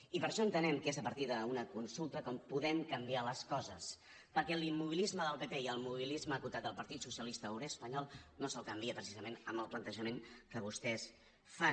i per això entenem que és a partir d’una consulta com podem canviar les coses perquè l’immobilisme del pp i el mobilisme acotat del partit socialista obrer espanyol no se’l canvia precisament amb el plantejament que vostès fan